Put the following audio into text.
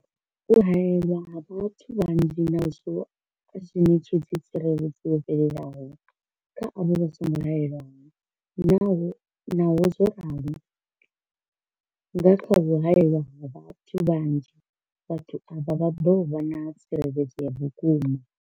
U haelwa ha vhathu vhanzhi nazwo a zwi ṋetshedzi tsireledzo yo fhelelaho kha avho vha songo haelwaho, Naho zwo ralo, nga kha u haelwa ha vhathu vhanzhi, vhathu avha vha ḓo vha na tsireledzo ya vhukuma.